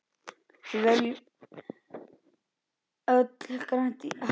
Við viljum öll grænt Ísland.